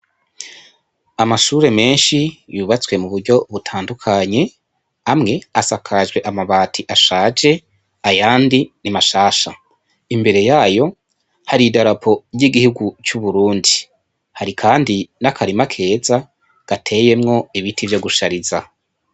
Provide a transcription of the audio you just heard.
Amashure menshi yubatswe mu buryo butandukanye amwe asakajwe amabati ashaje ayandi ni mashasha, imbere yayo hari idarapo ry'iguhugu c'Uburundi, hari kandi n'akarima keza gateyemwo ibiti vyo gushariza.